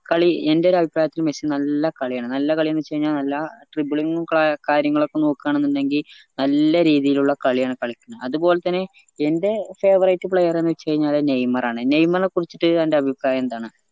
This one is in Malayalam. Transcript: കളി എന്റെ ഒരഭിപ്രായത്തിൽ മെസ്സി നല്ല കളിയാണ് നല്ല കാളിയെന്നച്ചഴിഞ്ഞാ നല്ല tribling ഉം ക കാര്യങ്ങളും ഒക്കെ നോക്കുവാന്ന് ഉണ്ടെങ്കി നല്ല രീതിയിലുള്ള കളിയാണ് കളിക്കുന്നത് അതുപോലെ തന്നെ എന്റെ favarite player എന്നച്ചഴിഞ്ഞ അത് നെയ്മറാണ് നെയ്മറിനെ കുറിച്ചിറ്റ് അന്റെ അഭിപ്രായം എന്താണ്